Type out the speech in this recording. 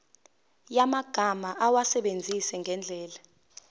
yamagama awasebenzise ngendlela